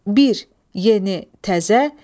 Bir, yeni, təzə.